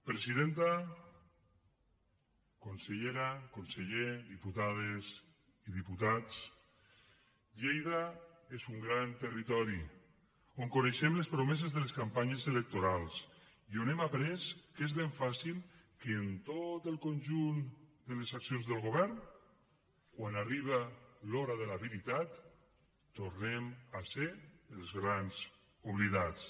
presidenta consellera conseller diputades i diputats lleida és un gran territori on coneixem les promeses de les campanyes electorals i on hem après que és ben fàcil que en tot el conjunt de les accions del govern quan arriba l’hora de la veritat tornem a ser els grans oblidats